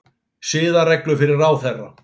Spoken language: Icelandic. Siðareglur fyrir ráðherra